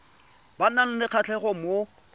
ba nang le kgatlhego mo